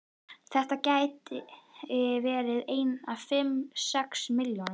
Þetta gætu verið einar fimm, sex milljónir.